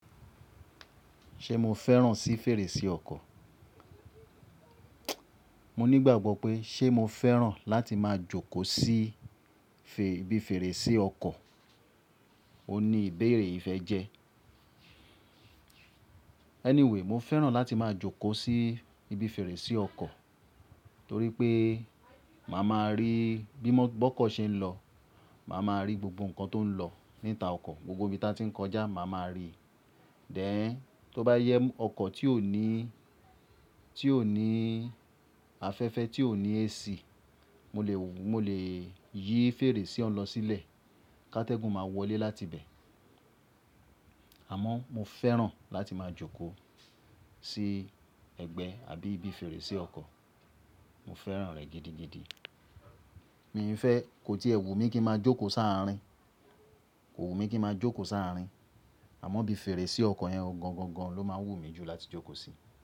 Ṣé mo fẹ́ràn sí fèrèsé ọkọ̀? Mo ní ìgbàgbọ́ pé ṣé mo fẹ́ràn láti máa jókòó sí ibi fèrèsé ọkọ̀. Ó ní ìbéèrè ìfẹ́ jẹ. Anyway, mo fẹ́ràn láti máa jókòó sí ibi fèrèsé ọkọ̀ torí pé màá máa rí bí bọ́kọ̀ ṣe ń lọ, màá máa rí gbogbo nǹkan tó ń lọ níta ọkọ̀, gbogbo ibi tí wọ́n ti ń kọjá màá máa rí. Then, tó bá jẹ ọkọ̀ tí ò ní afẹ́fẹ́, tí ò ní AC, mo lè yí fèrèsé òun lọ sílẹ̀, ká tẹ́gùn máa wọlé láti ibẹ̀. Àmọ́ mo fẹ́ràn láti máa jókòó sí ẹgbẹ́ àbí ibi fèrèsé ọkọ̀. Mo fẹ́ràn rẹ̀ gidigidi. Mi i fẹ́, kò tí è wù mí kí ń máa jókòó sáa'rin, kò wù mí kí ń máa jókòó sáa'rin. Àmọ́ ibi fèrèsé ọkọ̀ yẹn gan gan gan ló máa ń wùmí láti jókò sí.